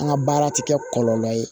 An ka baara tɛ kɛ kɔlɔlɔ ye